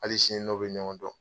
Hali sini n n'o bɛ ɲɔgɔn dɔn.